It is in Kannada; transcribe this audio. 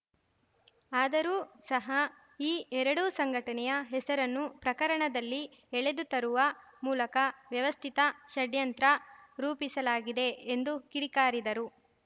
ಆದರೂ ಸಹ ಈ ಎರಡೂ ಸಂಘಟನೆಯ ಹೆಸರನ್ನು ಪ್ರಕರಣದಲ್ಲಿ ಎಳೆದು ತರುವ ಮೂಲಕ ವ್ಯವಸ್ಥಿತ ಷಡ್ಯಂತ್ರ ರೂಪಿಸಲಾಗಿದೆ ಎಂದು ಕಿಡಿಕಾರಿದರು